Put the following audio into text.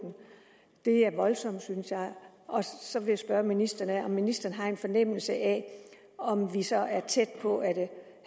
det er voldsomt synes jeg så vil jeg spørge om ministeren ministeren har en fornemmelse af om det så er tæt på